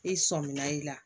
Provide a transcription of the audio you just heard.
I sɔminna i la